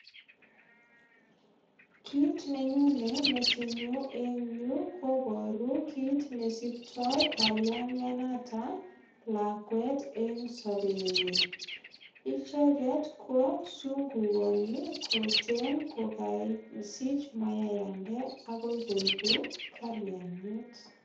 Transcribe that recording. Kit ne nyone metinyu en yu kobaru kit ne siktoikalingianoto lakwet eng sobenyin. Icheget ko sungukani koten kokasich mayayandet agoi koegu kaliangat.